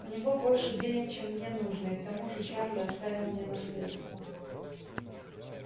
у него больше денег чем мне нужно и к тому же чарли оставил мне наследство